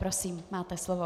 Prosím, máte slovo.